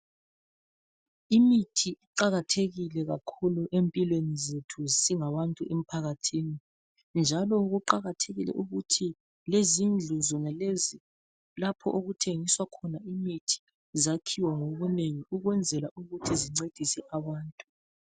Imithi iqakathekile kakhulu empilweni zethu singabantu emphakathini .Njalo kuqakathekile ukuthi lezindlu zonalezi lapho okuthengiswa khona imithi zakhiwe ngobunene ukwenzela ukuthi zincedise abantu .